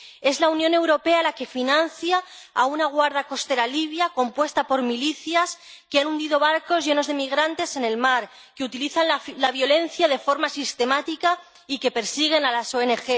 Es la Unión Europea la que financia a una guardia costera libia compuesta por milicias que ha hundido barcos llenos de migrantes en el mar, que utiliza la violencia de forma sistemática y que persigue a las ONG.